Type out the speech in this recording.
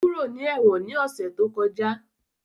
Ó kúrò ní ẹ̀wọ̀n ní ọ̀sẹ̀ tó kọjá